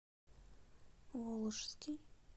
волжский